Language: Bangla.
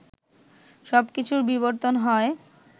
সবকিছুর বিবর্তন হয়